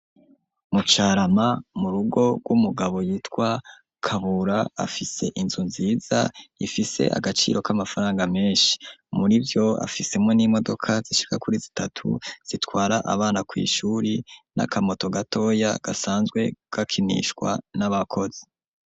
Mu Carama mu rugo rw'umugabo yitwa Kabura afise inzu nziza ifise agaciro k'amafaranga menshi murivyo afisemwo n'imodoka zishika kuri zitatu zitwara abana kw'ishuri n'akamoto gatoya gasanzwe gakinishwa n'abakozi.